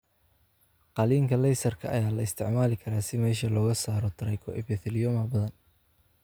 Qalliinka qalliinka ama qalliinka laysarka ayaa la isticmaali karaa si meesha looga saaro trichoepitheliomas badan.